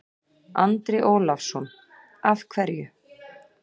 Andri Ólafsson: Af hverju?